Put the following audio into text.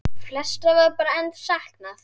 Flestra var enn bara saknað.